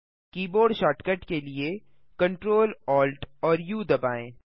keyboard shortcut के लिए Ctrl Alt और उ दबाएँ